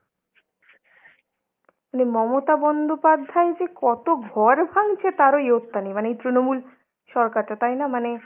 মানে মমতা বন্দ্যোপাধ্যায় যে কত ঘর ভাঙছে তারও ইয়ত্তা নেই, মানে এই তৃণমূল সরকারটা তাইনা মানে।